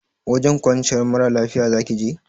Wajen kwanciyar mara lafiya zaki je?